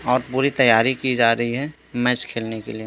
और पूरी तैयारी की जा रही है मैच खेलने के लिए --